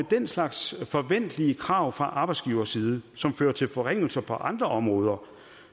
den slags forventelige krav fra arbejdsgiverside som fører til forringelser på andre områder